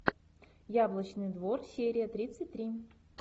яблочный двор серия тридцать три